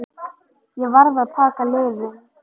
Ég varð að taka lyfin.